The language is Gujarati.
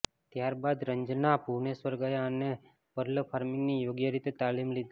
ત્યારબાદ રંજના ભુવનેશ્વર ગયા અને પર્લ ફાર્મિંગની યોગ્ય રીતે તાલીમ લીધી